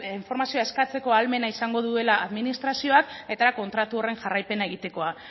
informazioa eskatzeko ahalmena izango duela administrazioak eta kontratu horren jarraipena egitekoa